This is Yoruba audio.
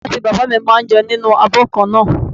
Ìyá àti bàbá mi máa ń jẹun nínú abo kan náà.